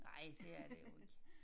Ej det er det jo ikke